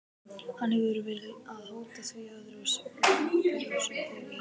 Hann hefur verið að hóta því öðru hverju þegar ég hitti hann.